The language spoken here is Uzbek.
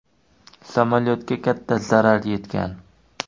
Samolyotga katta zarar yetgan.